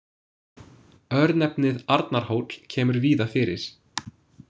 Örnefnið Arnarhóll kemur víða fyrir.